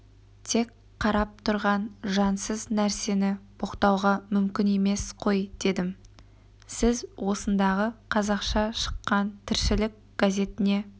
тек қарап тұрған жансыз нәрсені боқтауға мүмкін емес қой дедім сіз осындағы қазақша шыққан тіршілік газетіне